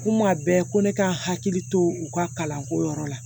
Kuma bɛɛ ko ne ka hakili to u ka kalanko yɔrɔ la